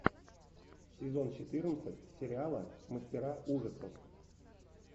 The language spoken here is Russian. сезон четырнадцать сериала мастера ужасов